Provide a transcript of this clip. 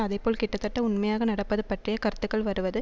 அதேபோல் கிட்டத்தட்ட உண்மையாக நடப்பது பட்டிய கருத்துக்கள் வருவது